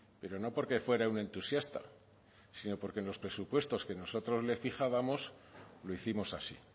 pero no porque fuera un entusiasta sino porque en los presupuestos que nosotros le fijábamos lo hicimos así